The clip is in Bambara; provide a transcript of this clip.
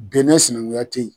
Benɛ sinankunkuya te yen.